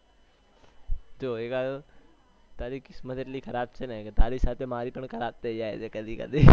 જો તારી કિસ્મત એટલી ખરાબ છે ને તારી સાથે મારી પણ ખરાબ થયી જાય છે કદી કદી